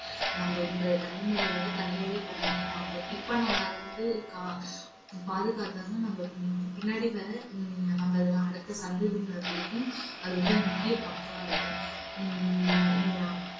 நம்ம இன்றைய தலைமுறையோட தலையாய கடமையாகும். இப்ப நம்ம அத வந்து கா~ பாதுகாத்தாதான் நம்ம பின்னாடி வர ஹம் நம்ம அடுத்த சந்ததியினருக்கும் அது வந்து முக்கிய பங்கா இருக்கும். ஹம் ஆஹ்